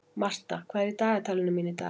Martha, hvað er í dagatalinu mínu í dag?